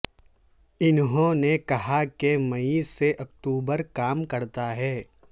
انہوں نے کہا کہ مئی سے اکتوبر کام کرتا ہے